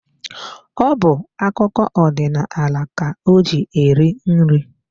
Ọ bu akụkọ odinaala ka o ji eri nri.